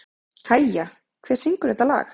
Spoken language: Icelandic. Kæja, hver syngur þetta lag?